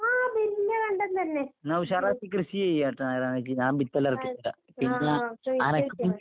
ആഹ് വല്യ കണ്ടം തന്നെ. ആഹ് ആഹ് ആഹ് ചോയിച്ച് വെച്ചോ.